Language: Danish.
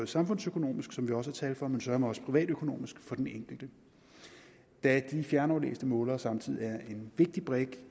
samfundsøkonomisk som vi også har tal for men søreme også privatøkonomisk for den enkelte da de fjernaflæste målere samtidig er en vigtig brik